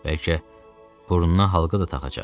Bəlkə burnuna halqa da taxacaq.